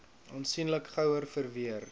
aansienlik gouer verweer